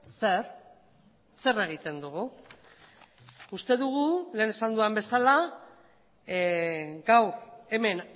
zer zer egiten dugu uste dugu lehen esan dudan bezala gaur hemen